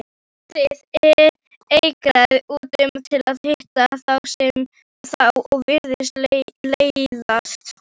Krúttið eigraði út til að hitta þá og virtist leiðast.